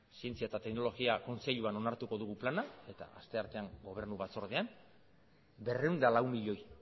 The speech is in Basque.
zientzia eta teknologia kontseiluan onartuko dugu plana eta asteartean gobernu batzordean berrehun eta lau milioi